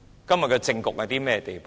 今天的政局到了甚麼地步？